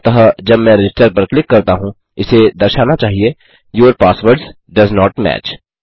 अतः जब मैं रजिस्टर पर क्लिक करता हूँ इसे दर्शाना चाहिए your passwords does not match